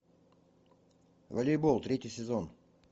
волейбол третий сезон